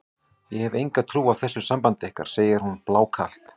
Ég hef enga trú á þessu sambandi ykkar, segir hún blákalt.